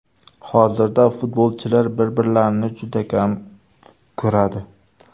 Hozirda futbolchilar bir-birlarini juda kam ko‘radi.